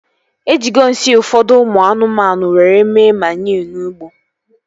Ejigo nsị ụfọdụ ụmụ anụmanụ were mee maniu n'ugbo